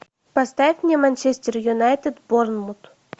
поставь мне манчестер юнайтед борнмут